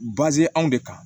anw de kan